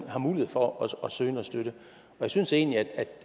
har mulighed for at søge noget støtte jeg synes egentlig